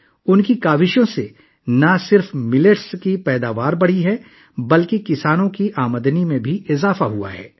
ان کی کوششوں سے نہ صرف باجرے کی پیداوار میں اضافہ ہوا ہے بلکہ کسانوں کی آمدنی میں بھی اضافہ ہوا ہے